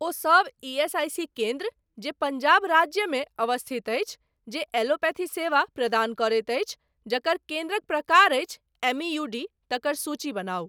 ओहि सब ईएसआईसी केन्द्र जे पंजाब राज्यमे अवस्थित अछि, जे एलोपैथी सेवा प्रदान करैत अछि, जकर केन्द्रक प्रकार अछि एमईयूडी, तकर सूची बनाउ ।